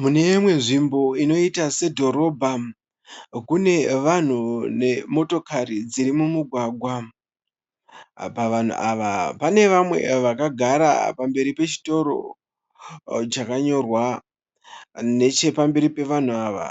Mune imwe nzvimbo inoita sedhorobha. Kune vanhu nemotokari dziri mumugwagwa. Pavanhu ava pane vamwe vakagara pamberi pechitoro chakanyorwa. Nechepamberi pevanhu ava